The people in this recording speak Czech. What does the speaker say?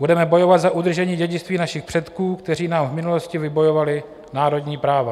Budeme bojovat za udržení dědictví našich předků, kteří nám v minulosti vybojovali národní práva.